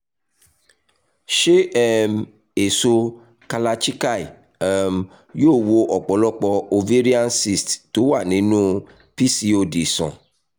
ṣé um èso kalarchikai um yóò wo ọ̀pọ̀lọpọ̀ ovarian cysts tó wà nínú pcod sàn?